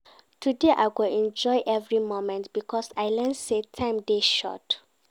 Today I go enjoy every moment because I learn sey time dey short.